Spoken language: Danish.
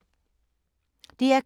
DR K